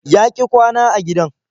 Ya ƙi kwana a gidan.